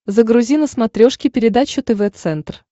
загрузи на смотрешке передачу тв центр